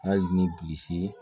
Hali ni bilisi ye